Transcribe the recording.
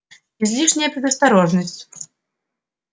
излишняя предосторожность